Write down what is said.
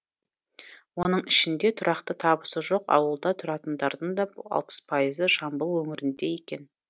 оның ішінде тұрақты табысы жоқ ауылда тұратындардың да алпыс пайызы жамбыл өңірінде екен